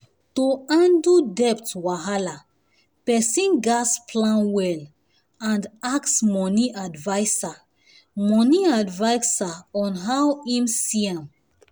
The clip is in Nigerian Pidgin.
to handle debt wahala person gas plan well and ask money adviser money adviser on how him see am